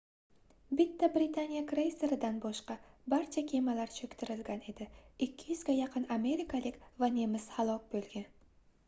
bitta britaniya kreyseridan boshqa barcha kemalar choʻktirilgan edi 200 ga yaqin amerikalik va nemis halok boʻlgan